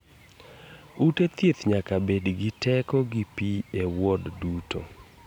Ute thieth nyaka bed gi teko gi pii e wod duto.